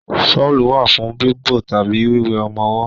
Ṣọ́lù wà fún bíbo tàbí wíwé ọmọwọ́.